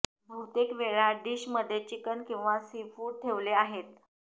बहुतेक वेळा डिश मध्ये चिकन किंवा सीफुड ठेवले आहेत